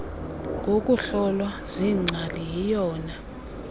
ngokuhlolwa ziingcali yiyona